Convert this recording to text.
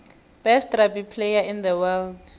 best rugby player in the world